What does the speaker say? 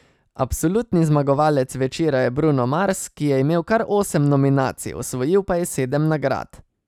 Absolutni zmagovalec večera je Bruno Mars, ki je imel kar osem nominacij, osvojil pa je sedem nagrad.